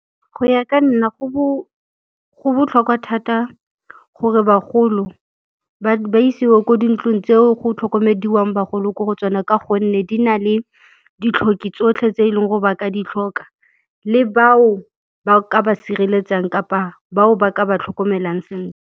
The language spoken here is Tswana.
Go ya ka nna go botlhokwa thata gore bagolo ba isiwe ko dintlong tseo go tlhokomediwang bagolo ko go tsona ka gonne di na le ditlhoki tsotlhe tse eleng gore ba ka di tlhoka le bao ba ka ba sireletsang kapa bao ba ka ba tlhokomelang sentle.